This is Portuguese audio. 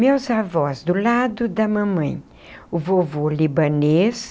Meus avós, do lado da mamãe, o vovô libanês,